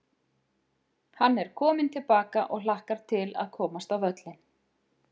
Hann er kominn til baka og hlakkar til að komast á völlinn.